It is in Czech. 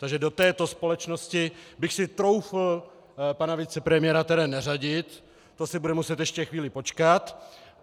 Takže do této společnosti bych si troufl pana vicepremiéra tedy neřadit, to si bude muset ještě chvíli počkat.